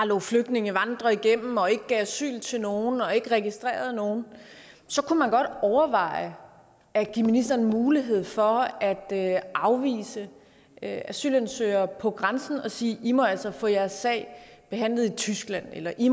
lod flygtningene vandre igennem og ikke gav asyl til nogen og ikke registrerede nogen så kunne man godt overveje at give ministeren en mulighed for at afvise asylansøgere på grænsen og sige i må altså få jeres sag behandlet i tyskland eller i